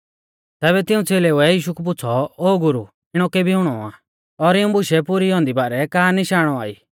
तैबै तिऊं च़ेलेउऐ यीशु कु पुछ़ौ ओ गुरु इणौ केबी हुणौ आ और इऊं बुशै पुरी औन्दी बारै का निशाण औआ ई